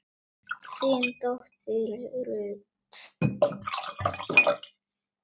þín dóttir Ruth.